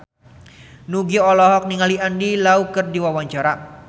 Nugie olohok ningali Andy Lau keur diwawancara